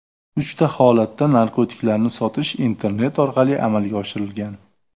Uchta holatda narkotiklarni sotish internet orqali amalga oshirilgan.